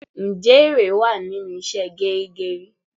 Ǹjẹ́ ère wá nínú ìṣe geri geri?